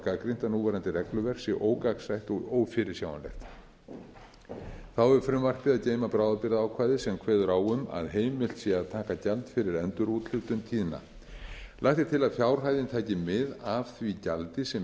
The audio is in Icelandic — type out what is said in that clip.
gagnrýnt að núverandi regluverk sé ógagnsætt og ófyrirsjáanlegt þá hefur frumvarpið að geyma bráðabirgðaákvæði sem kveður á um að heimilt sé að taka gjald fyrir endurúthlutun tíðna lagt er til að fjárhæðin taki mið af því gjaldi sem